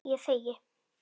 Ég þegi.